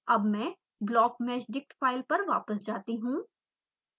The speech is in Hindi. अब मैं blockmeshdict file पर वापस जाती हूँ